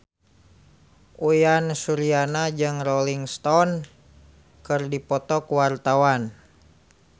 Uyan Suryana jeung Rolling Stone keur dipoto ku wartawan